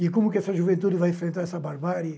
E como essa juventude vai enfrentar essa barbárie?